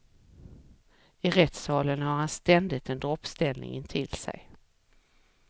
I rättssalen har han ständigt en droppställning intill sig.